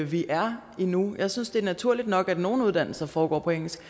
vi er endnu jeg synes det er naturligt nok at nogle uddannelser foregår på engelsk